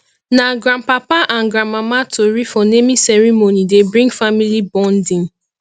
na grandpapa and grandmama tori for naming ceremony dey bring family bonding